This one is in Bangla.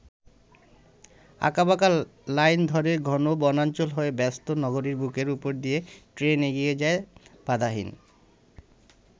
আঁকাবাঁকা লাইন ধরে ঘন বনাঞ্চল হয়ে ব্যস্ত নগরীর বুকের উপর দিয়ে ট্রেন এগিয়ে যায় বাধাহীন।